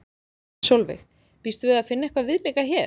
Sólveig: Býstu við að finna eitthvað viðlíka hér?